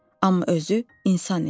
Amma özü insan idi.